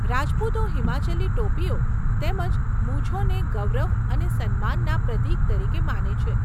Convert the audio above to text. રાજપૂતો હિમાચલી ટોપીઓ તેમજ મૂછોને ગૌરવ અને સન્માનના પ્રતીક તરીકે માને છે.